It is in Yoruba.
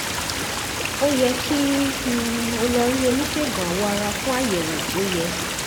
ó yẹ kí um o lọ rí oníṣègùn awọ ara fún àyẹ̀wò tó yẹ